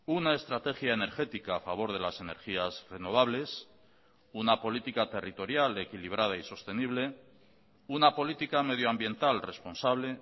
una estrategia energética a favor de las energías renovables una política territorial equilibrada y sostenible una política medio ambiental responsable